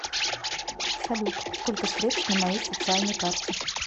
салют сколько средств на моей социальной карте